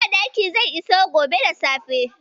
Madaki zai iso gobe da safe.